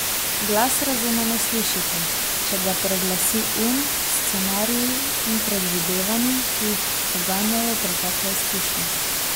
Glas razuma ne slišite, če ga preglasi um s scenariji in predvidevanji, ki jih poganjajo pretekle izkušnje.